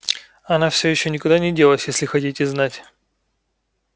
она всё ещё никуда не делась если хотите знать